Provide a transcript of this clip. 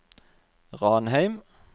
Ranheim